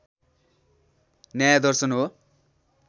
न्याय दर्शन हो